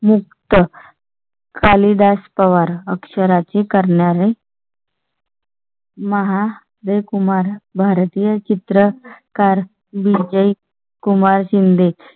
मुक्त कालीदास पवार अक्षरांची करणारे. महा जयकुमार भारतीय चित्रकार विजय कुमार शिंदे